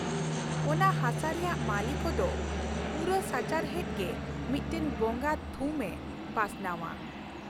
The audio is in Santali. ᱚᱱᱟ ᱦᱟᱥᱟ ᱨᱮᱭᱟᱜ ᱢᱟᱹᱞᱤ ᱠᱚᱫᱚ ᱯᱩᱨᱟᱹ ᱥᱟᱪᱟᱨᱦᱮᱫ ᱜᱮ ᱢᱤᱫᱴᱟᱝ ᱵᱚᱸᱜᱟ ᱛᱷᱩᱢ ᱮ ᱯᱟᱥᱱᱟᱣᱼᱟ ᱾